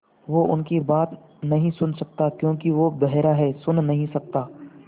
वो उनकी बात नहीं सुन सकता क्योंकि वो बेहरा है सुन नहीं सकता